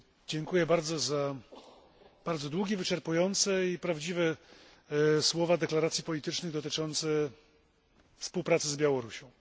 Dziękuję bardzo za bardzo długie, wyczerpujące i prawdziwe słowa deklaracji politycznych dotyczące współpracy z Białorusią.